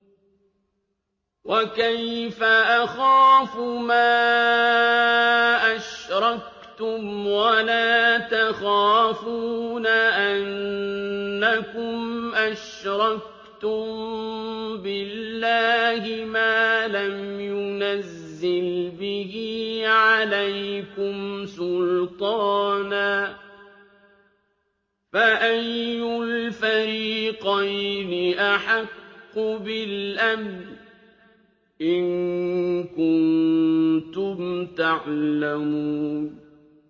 وَكَيْفَ أَخَافُ مَا أَشْرَكْتُمْ وَلَا تَخَافُونَ أَنَّكُمْ أَشْرَكْتُم بِاللَّهِ مَا لَمْ يُنَزِّلْ بِهِ عَلَيْكُمْ سُلْطَانًا ۚ فَأَيُّ الْفَرِيقَيْنِ أَحَقُّ بِالْأَمْنِ ۖ إِن كُنتُمْ تَعْلَمُونَ